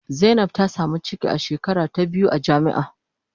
Zainab ta samu ciki a shekara ta biyu a jami'a.